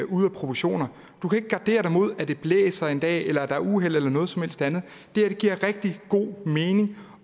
ude af proportioner du kan ikke gardere dig imod at det blæser en dag eller er der er uheld eller noget som helst andet det giver rigtig god mening